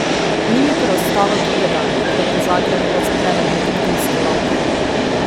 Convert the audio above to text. Ni mi preostalo drugega, kot da po Zagrebu razpredem detektivske lovke.